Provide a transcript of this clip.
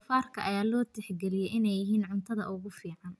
Doofaarka ayaa loo tixgeliyey inay yihiin cuntada ugu fiican.